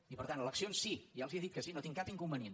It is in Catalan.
i per tant eleccions sí ja els he dit que sí no hi tinc cap inconvenient